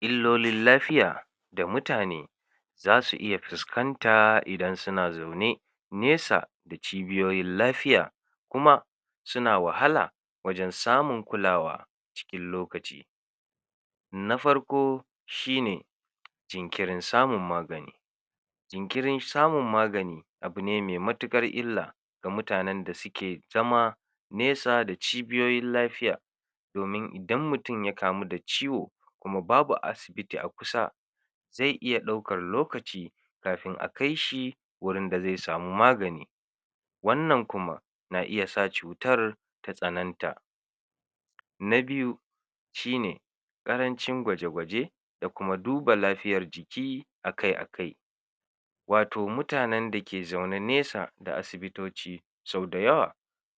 Illolin lafiya da mutane zasu iya fiskanta idan sina zaune nesa da cibiyoyin lafiya, kuma sina wahala wajen samun kulawa cikin lokaci. Na farko shine: jinkirin samun magani jinkirin samun magani abune me matuƙar illa ga mutanen da sike zama nesa da cibiyoyin lafiya, domin idan mutin ya kamu da ciwo kuma babu asibiti a kusa ze iya ɗaukar lokaci kafin a kaishi wurinda ze samu magani, wannan kuma na iya sa cutar ta tsananta. Na biyu: Shine ƙarancin gwaje gwaje da kuma duba lafiyar jiki akai akai, wato mutanen da ke zaune nesa da asibitoci sau da yawa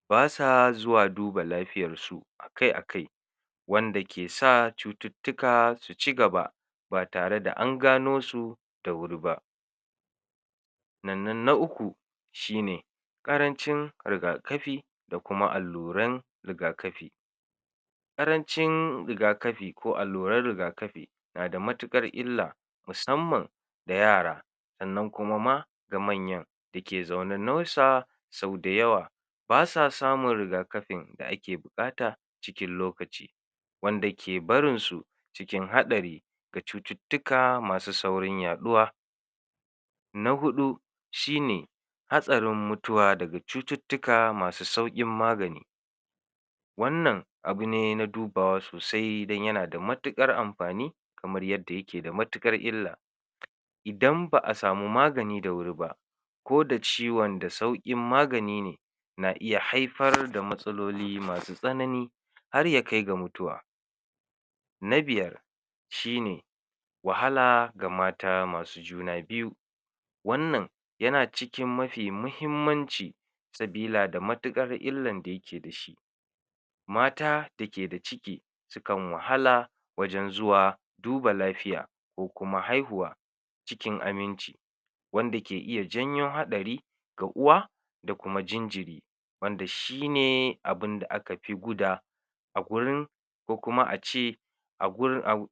basa zuwa duba lafiyarsu akai akai, wanka kesa cututtuka su cigaba ba tare da an gano su da wuri ba. Nannnan na uku shin: Ƙarancin riga-kafi da kuma alluran riga-kafi, ƙarancin riga-kafi ko alluran riga-kafi nada matiƙar illa musamman da yara sannan kuma ma ga manyan dake zaune nausa, sau da yawa basa samun riga kafin da ake buƙata cikin lokaci, wanda ke barinsu cikin haɗari ga cutittika masu saurin yaɗuwa. Na huɗu: Shine hatsarin mutuwa daga cututtuka masu sauƙin magani, wannan abu ne na dubawa sosai dan yana da matiƙar amfani kamar yadda yake da matiƙar illa, idan ba'a samu magani da wuri ba koda ciwon da sauƙin magani ne na iya haifar da matsaloli masu tsanani har ya kaiga mutuwa. Na biyar: Shine: Wahala ga mata masu juna biyu, wannan yana cikin mafi mahimmanci sabila da matiƙar illan da yake da shi, mata da keda ciki sikan wahala wajen zuwa duba lafiya ko kuma haihuwa cikin aminci, wanda ke iya janyo haɗari ga uwa da kuma jinjiri, wanda shine abinda aka fi guda a gurin ko kuma a ce a gun au.